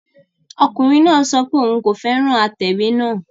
Ọkùnrin náà sọ pé òun kò fẹ́ràn atẹ̀wé náà